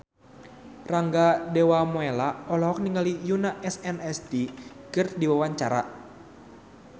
Rangga Dewamoela olohok ningali Yoona SNSD keur diwawancara